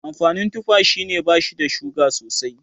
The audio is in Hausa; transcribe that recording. Amfanin tufa shine bashi da suga sosai